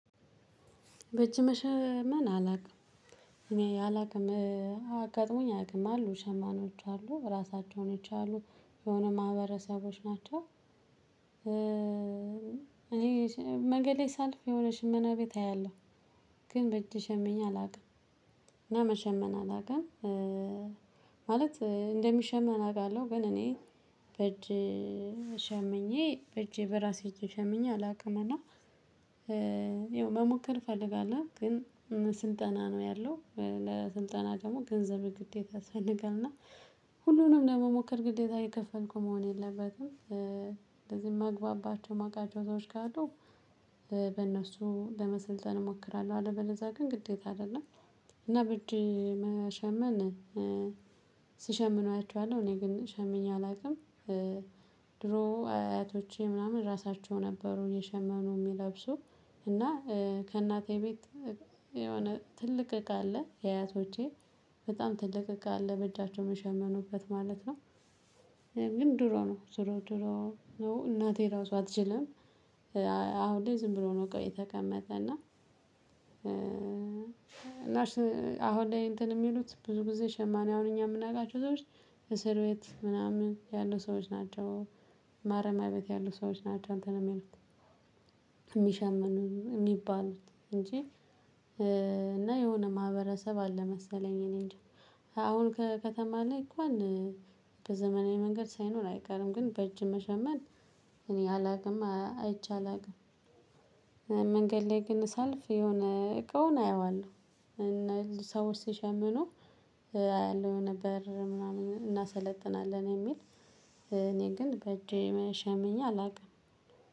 በእጅ መሸመን አላውቅም። እኔ አላውቅም አጋጥሞኝ አያቅም አሉ ሸማኔዎች አሉ ራሳቸውን አሉ የሆነ ማህበረሰቦች ናቸው። እኔ መገሌ ሳልፍ የሆነ ሽመና ቤት አያለሁ። ግን በእጄ ሸምኜ አላውቅም እና መሸመን አላቅም ማለት እንደሚሸመን አቃለሁ ግን እኔ በእጅ ሸምኜ በእጄ በራሴ እጅ ሸምኜ አላውቅምና ይኸው መሞከር እፈልጋለሁ ግን ስልጠና ነው ያለው ለስልጠና ደግሞ ገንዘብ ግዴታ ያስፈልጋል እና ሁሉንም ለመሞከር ግዴታ የከፈልኩ መሆን የለበትም። እንደዚህ ማግባባቸው ማቃቸው ሰዎች ካሉ በእነሱ ለመሰልጠን እሞክራለሁ። አለበለዛ ግን ግዴታ አይደለም እና በጅ መሸመን ሲሸምኑ እኔ ግን ሸምኜ አላውቅም ድሮ አያቶቼ ምናምን ራሳቸው ነበሩ የሸመኑ የሚለብሱ እና ከእናቴ ቤት የሆነ ትልቅ እቃ አለ የአያቶቼ በጣም ትልቅ እቃ አለ በእጃቸው መሸመኑበት ማለት ነው። ግን ድሮ ነው። ድሮ ድሮ ነው እናቴ ራሱ አትችልም። አሁን ላይ ዝም ብሎ ነው እቃው የተቀመጠ እና እና አሁን ላይ እንትን የሚሉት ብዙ ጊዜ ሸማኔ አሁን እኛ የምናውቃቸው ሰዎች እስር ቤት ምናምን ያሉ ሰዎች ናቸው። ማረሚያ ቤት ያሉ ሰዎች ናቸው አንትን የሚሉት የሚሸምኑ የሚባሉት እንጂ እና የሆነ ማህበረሰብ አለ መሰለኝ እኔንጃ አሁን ከከተማ ላይ እንኳን በዘመናዊ መንገድ ሳይኖር አይቀርም ግን በእጅ መሸመን እኔ አላቅም አይቼ አላቅም። መንገድ ላይ ግን ሳልፍ የሆነ እቃውን አየዋለሁ ሰዎች ሲሸምኑ አያለሁ ነበር ምናምን እናሰነጥናለን የሚል እኔ ግን በእጄ ሸምኜ አላውቅም።